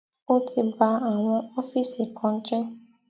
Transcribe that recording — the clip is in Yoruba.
ó ti ba àwọn ọfíìsì kan jẹ